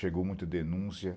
Chegou muita denúncia.